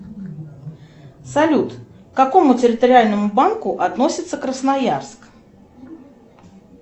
салют к какому территориальному банку относится красноярск